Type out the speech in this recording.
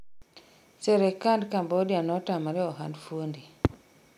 serekand Cambodia notamre ohand fuonde